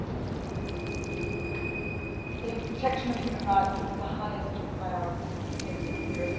The protection of human rights is of the highest priority in the European Union's relations with Colombia.